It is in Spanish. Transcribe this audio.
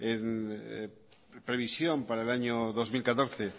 en la previsión para el año dos mil catorce